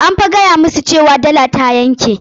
An fa gaya masa cewa dala ta yanke.